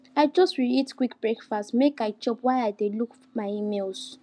i just reheat quick breakfast make i chop while i dey look my emails